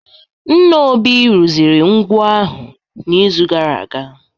Nna Obi rụziri ngwo ahụ n'izu gara aga